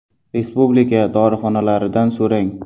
Respublika dorixonalaridan s o‘ rang .